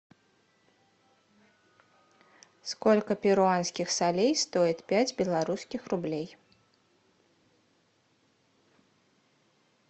сколько перуанских солей стоит пять белорусских рублей